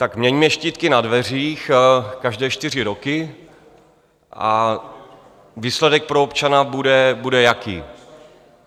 Tak měňme štítky na dveřích každé čtyři roky a výsledek pro občana bude jaký?